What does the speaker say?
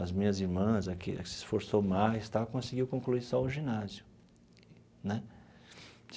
As minhas irmãs, a que se esforçou mais e tal, conseguiu concluir só o ginásio né.